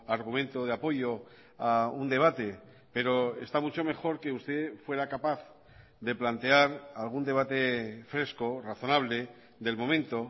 argumento de apoyo a un debate pero está mucho mejor que usted fuera capaz de plantear algún debate fresco razonable del momento